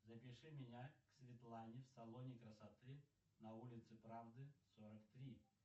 запиши меня к светлане в салоне красоты на улице правды сорок три